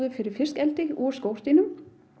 fyrir fiskieldi úr skordýrum